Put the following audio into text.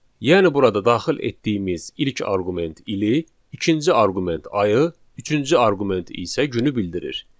Yəni burada daxil etdiyimiz ilk arqument ili, ikinci arqument ayı, üçüncü arqument isə günü bildirir.